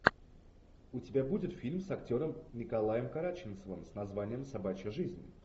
у тебя будет фильм с актером николаем караченцевым с названием собачья жизнь